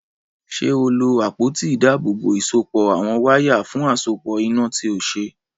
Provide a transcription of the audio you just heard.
Ṣé o lo àpótí ìdábòòbò ìsopọ̀ àwọn wáyà fún àsopọ̀ iná tí o ṣe?